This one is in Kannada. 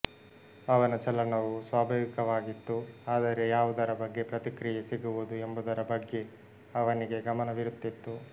ಅವನ ಚಲನವು ಸ್ವಾಭಾವಿಕವಾಗಿತ್ತು ಆದರೆ ಯಾವುದರ ಬಗ್ಗೆ ಪ್ರತಿಕ್ರಿಯೆ ಸಿಗುವುದು ಎಂಬುದರ ಬಗ್ಗೆ ಅವನಿಗೆ ಗಮನವಿರುತ್ತಿತ್ತು